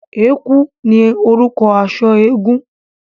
Ẹ̀kú ní orúkọ aṣọ eégún.